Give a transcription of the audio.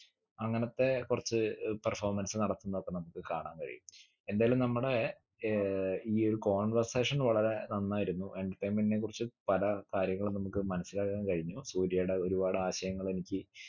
അങ്ങനത്തെ കുറച്ച ഏർ performance നടത്തുന്നതൊക്കെ നമുക്ക് കാണാൻ കഴിയും എന്തായാലു നമ്മുടെ ഏർ ഈ ഒരു conversation വളരെ നന്നായിരുന്നു entertainment നെ കുറിച്ച് പല കാര്യങ്ങളും നമുക്ക് മനസ്സിലാക്കാൻ കഴിഞ്ഞു സൂര്യേടെ ഒരുപാട് ആശയങ്ങളെനിക്ക്